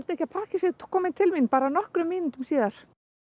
ekki að pakkinn sé kominn til mín bara nokkrum mínútum síðar